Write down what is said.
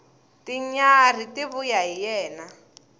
tinyarhi ti vuya hi yena